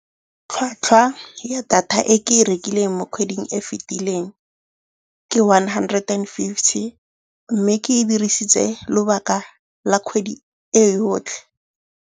Tlhatlhwa ya data e ke e rekileng mo kgweding e fitileng ke one hundred and fifty, mme ke e dirisitse lobaka la kgwedi e yotlhe.